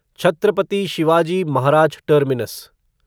Chhatrapati Shivaji Maharaj terminus